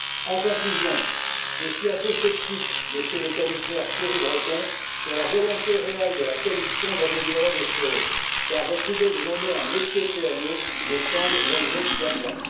En conclusion, je suis assez sceptique, Monsieur le Commissaire Thierry Breton, sur la volonté réelle de la Commission d'améliorer les choses, car votre idée de nommer un Monsieur PME me semble relever du gadget.